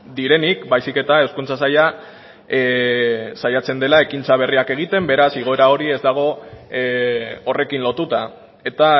direnik baizik eta hezkuntza saila saiatzen dela ekintza berriak egiten beraz igoera hori ez dago horrekin lotuta eta